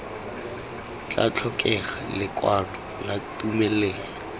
tla tlhokega lekwalo la tumelelo